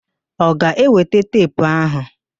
Ọ ga-eweta teepu áhụ̀?